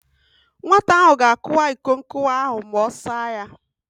Nwata ahụ ga-akụwa iko nkụwa ahụ ma ọ saa ya.